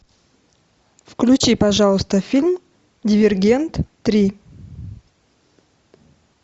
включи пожалуйста фильм дивергент три